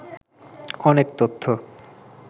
অনেক তথ্য